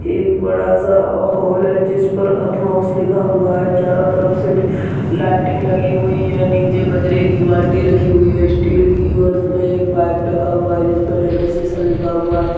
एक बड़ा सा अ हॉल है जिसपर अथमोक्स लिखा हुआ है। चारों तरफ से डि लाइटिंग लगी हुई है। नीचे कचरे की बाल्टी रखी हुई है स्टील की और उसमें एक पाइप लगा हुआ है जिसपे डैनेसेसन लिखा हुआ है।